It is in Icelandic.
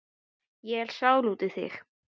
Ég er sár út í þig.